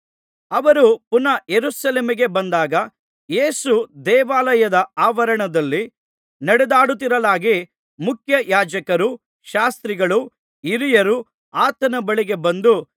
ಅವರು ಪುನಃ ಯೆರೂಸಲೇಮಿಗೆ ಬಂದಾಗ ಯೇಸು ದೇವಾಲಯದ ಆವರಣದಲ್ಲಿ ನಡೆದಾಡುತ್ತಿರಲಾಗಿ ಮುಖ್ಯಯಾಜಕರೂ ಶಾಸ್ತ್ರಿಗಳೂ ಹಿರಿಯರೂ ಆತನ ಬಳಿಗೆ ಬಂದು